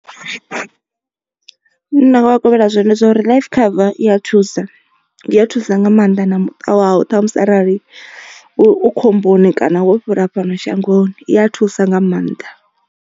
Zwi ne nda nga kovhela zwone ndi zwa uri life cover iya thusa i ya thusa nga maanḓa na muṱa wau ṱhamusi arali u khomboni kana wo fhira fhano shangoni i ya thusa nga maanḓa.